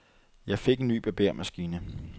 Jeg fik en ny barbermaskine.